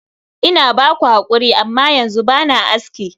Ina ba ku hakuri, amma yanzu ba na aski.